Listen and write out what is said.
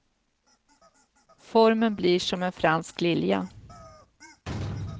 Formen blir som en fransk lilja.